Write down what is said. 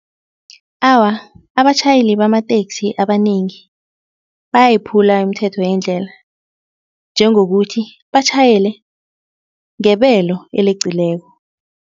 Awa, abatjhayeli bamateksi abanengi bayayiphula imithetho yendlela njengokuthi batjhayele ngebelo eleqileko.